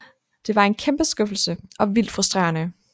Det var en kæmpe skuffelse og vildt frustrerende